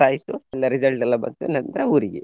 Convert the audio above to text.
ಆಯ್ತು ಎಲ್ಲ result ಎಲ್ಲ ಬಂತು ನಂತ್ರ ಊರಿಗೆ.